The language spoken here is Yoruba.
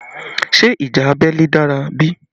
Ṣé ìjà abẹ́lé dára bí?